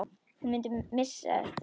Hún mundi eftir þessu kvöldi.